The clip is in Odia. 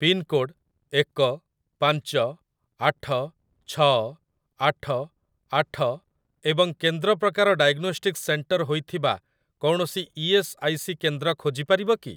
ପିନ୍‌କୋଡ଼୍‌ ଏକ ପାଞ୍ଚ ଆଠ ଛଅ ଆଠ ଆଠ ଏବଂ କେନ୍ଦ୍ର ପ୍ରକାର ଡାଏଗ୍ନୋଷ୍ଟିକ୍ସ ସେଣ୍ଟର ହୋଇଥିବା କୌଣସି ଇ.ଏସ୍. ଆଇ. ସି. କେନ୍ଦ୍ର ଖୋଜିପାରିବ କି?